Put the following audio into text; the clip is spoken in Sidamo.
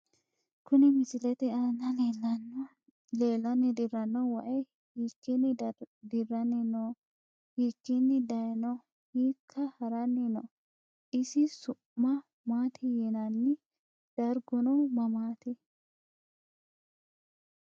Kuni misilete aana leelani dirano wayi hiikini dirani no hiikini dayiino hiika harani no isi su`ma maati yinani darguno mamati.